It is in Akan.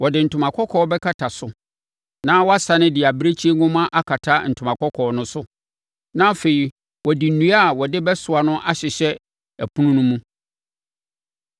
Wɔde ntoma kɔkɔɔ bɛkata so na wɔasane de abirekyie nhoma akata ntoma kɔkɔɔ no so. Na afei, wɔde nnua a wɔde bɛsoa no ahyehyɛ ɛpono no mu.